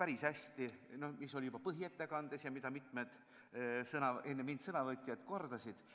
päris hästi oli öeldud juba põhiettekandes ja mida mitmed sõnavõtjad enne mind kordasid.